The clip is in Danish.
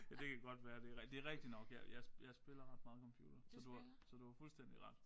Ja det kan godt være det rigtigt det rigtigt nok jeg jeg jeg spiller ret meget computer så du har så du har fuldstændig ret